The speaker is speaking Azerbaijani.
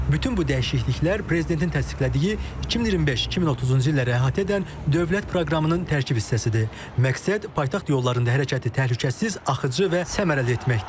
Bütün bu dəyişikliklər prezidentin təsdiqlədiyi 2025-2030-cu illəri əhatə edən dövlət proqramının tərkib hissəsidir, məqsəd paytaxt yollarında hərəkəti təhlükəsiz, axıcı və səmərəli etməkdir.